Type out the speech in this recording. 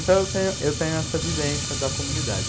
Então eu tenho eu tenho essa vivência da comunidade.